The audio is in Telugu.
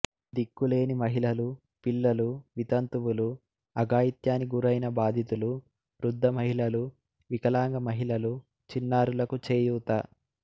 దిక్కులేని మహిళలు పిల్లలు వితంతువులు అఘాయిత్యానికి గురైన బాధితులు వృద్ధ మహిళలు వికలాంగ మహిళలు చిన్నారులకు చేయూత